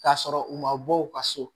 K'a sɔrɔ u ma bɔ u ka so